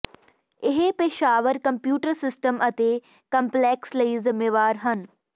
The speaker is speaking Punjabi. ਇਹ ਪੇਸ਼ਾਵਰ ਕੰਪਿਊਟਰ ਸਿਸਟਮ ਅਤੇ ਕੰਪਲੈਕਸ ਲਈ ਜ਼ਿੰਮੇਵਾਰ ਹਨ